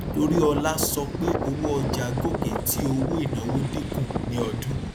toriola sọ pé owó ọjà gòkè tí owó ìnáwó dínkù ní ọdún